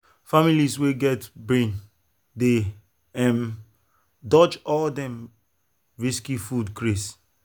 families wey get brain dey um dodge all them risky food craze.